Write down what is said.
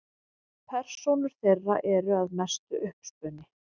Persónur þeirra eru að mestu uppspuni.